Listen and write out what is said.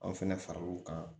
Anw fɛnɛ faral'u kan